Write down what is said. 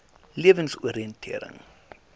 lewensoriëntering